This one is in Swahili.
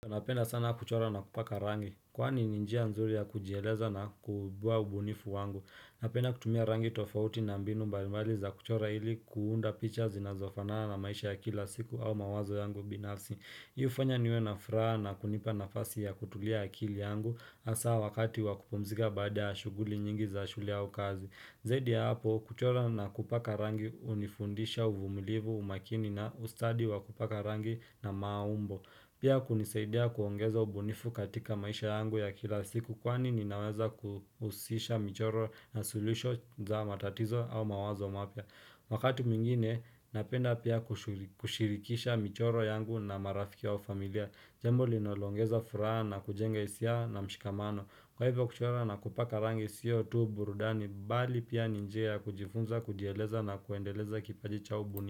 Napenda sana kuchora na kupaka rangi, kwani ninjia nzuri ya kujieleza na kubua ubunifu wangu. Napenda kutumia rangi tofauti na mbinu mbalimwali za kuchora ili kuunda picha zinazofanana na maisha ya kila siku au mawazo yangu binafsi. Hiu ufanya niwe na furaha na kunipa nafasi ya kutulia akili yangu, hasa wakati wakupomzika baada ya shuguli nyingi za shule au kazi. Zaidi ya hapo, kuchora na kupaka rangi hunifundisha uvumilivu umakini na ustadi wa kupaka rangi na maaumbo. Pia kunisaidia kuongeza ubunifu katika maisha yangu ya kila siku kwani ninaweza kuhusisha michoro na solution za matatizo au mawazo mapia. Wakati mingine napenda pia kushirikisha michoro yangu na marafiki wao familia. Jembo linolongeza furaha na kujenga hisia na mshikamano. Kwa hivyo kuchora na kupaka rangi siyo tu burudani bali pia ni njia kujifunza kujieleza na kuendeleza kipaji cha ubunifu.